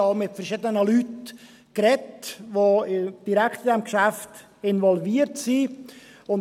Ich habe auch mit verschiedenen Leuten gesprochen, die direkt in dieses Geschäft involviert sind.